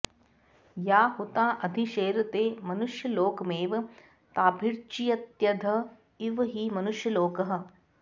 या हुता अधिशेरते मनुष्यलोकमेव ताभिर्जयत्यध इव हि मनुष्यलोकः